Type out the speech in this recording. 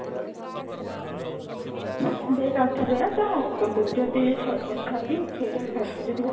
ଦେଖ ଆଉଥରେ ତ uncle ଙ୍କୁ ବି ଯଦି ଥରଟେ ସେଇଟା ହେବେ ଯଦି ହେବେ